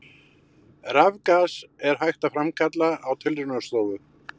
Rafgas er hægt að framkalla á tilraunastofu.